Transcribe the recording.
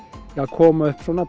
koma upp svona